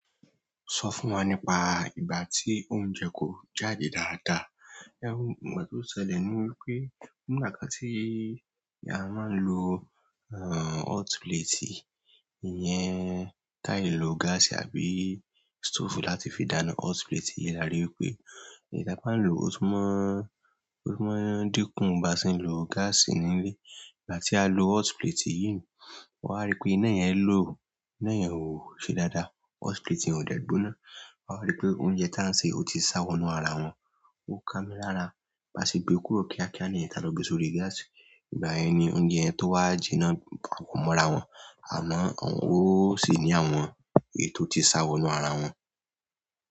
Sọ fún wa nípa ìgbà tí oúnjẹ kò jáde dáadáa. Ẹ̀wọ̀n ètò ṣẹlẹ̀ ni wípé nígbà kan tí a máa ń lo hot plate, ìyẹn táà lo gáàsì àbí stove láti fi dáná. Hot plate yẹn la ri wípé. Ìgbà t'ọ́n lòó, ó tún máa, ó tún máa ń dínkù báa ṣe ń lo gáàsì nílé. Ìgbà tí a lo hot plate yìí, wà á rí pé iná yẹn low, iná yẹn ò ṣe dáadáa. Hot plate yẹn ò dẹ̀ gbóná wà á rí pé oúnjẹ táà ń sè ó ti sá wọnú ara wọn. Ó kámí lára báa ṣe gbe kúrò kíákíá nìyẹn táa lọ gbe sórí gáàsì. Ìgbà yẹn ni oúnjẹ yẹn tó wá jinnà papọ̀ mọ́ra wọn. Àná ó sì ní àwọn ètò tí sáwọ̀nù ara wọn.